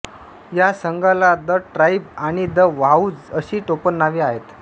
या संघाला the tribe आणि द वाहूझ अशी टोपणनावे आहेत